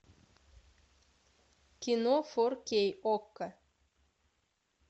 кино фор кей окко